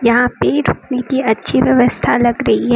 यहां पे रुकने की अच्छी व्यवस्था लग रही है।